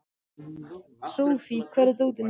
Sophie, hvar er dótið mitt?